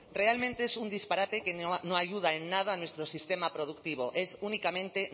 realmente es un disparate que no ayuda en nada a nuestro sistema productivo es únicamente